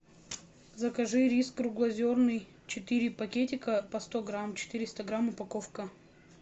закажи рис круглозерный четыре пакетика по сто грамм четыреста грамм упаковка